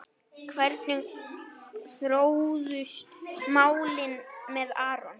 Hvernig þróuðust málin með Aron?